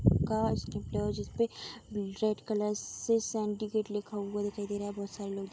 कांच निकला हुआ है जिसपे रेड कलर से सिन्डकेट लिखा हुआ दिखाई दे रहा है बहुत सारे लोग दिख --